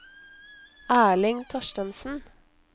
Erling Thorstensen